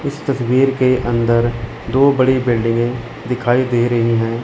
इस तस्वीर के अंदर दो बड़ी बिल्डिंगें दिखाई दे रहीं हैं।